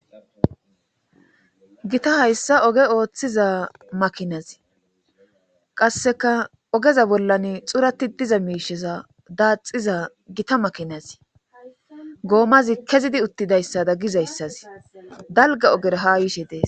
Gita hayssa oge ooththiza makinazi qasseka ogeza bollan xurati diza miisheza daaxiza gita makinazi goomazi kezidi uttidayssada gizayssazi dalga oger ha yishe dees.